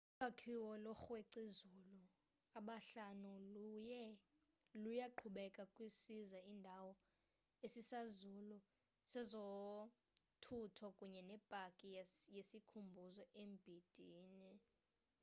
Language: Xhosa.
ulwakhiwo lookrwec'izulu abahlanu luyaqhubeka kwisiza indawo esisazulu sezothutho kunye nepaki yesikhumbuzo embindini